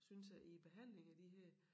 Synes jeg i æ behandling af de her